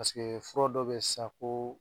fura dɔ bɛ yen sisan ko